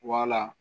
Wala